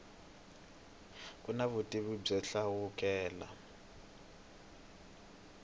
ku na vutivi byo hlawuleka